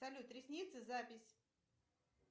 салют ресницы запись